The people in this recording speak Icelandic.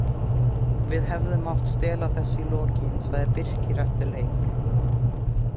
Við hefðum mátt stela þessu í lokin, sagði Birkir eftir leik.